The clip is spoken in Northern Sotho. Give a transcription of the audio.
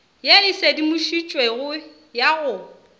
ye e sedimošitšwego ya go